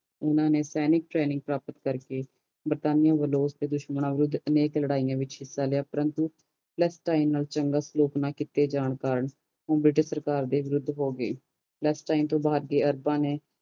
ਊਨਾ ਨੇ ਸੈਨਿਕ training ਪਰਾਪਤ ਕਰਕੇ ਬਰਤਾਨੀਆ ਵਲੋਂ ਹਰ ਇਕ ਯੁੱਧ ਵਿਚ ਹਿਸਾ ਲਿਆ ਪ੍ਰੰਤੂ ਨਾਲ ਸਲੋਚਨਾ ਕਰਨੇ ਨਾਲ ਓ ਉਸ ਦੇ ਵਿਰੁੱਧ ਹੋ ਗਯੀ